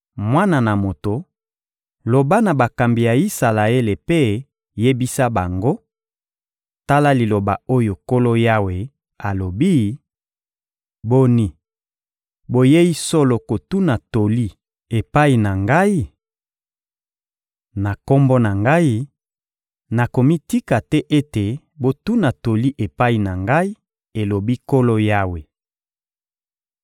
«Mwana na moto, loba na bakambi ya Isalaele mpe yebisa bango: ‹Tala liloba oyo Nkolo Yawe alobi: Boni, boyei solo kotuna toli epai na Ngai? Na Kombo na Ngai, nakomitika te ete botuna toli epai na Ngai, elobi Nkolo Yawe.›